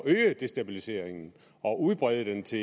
at øge destabiliseringen og udbrede den til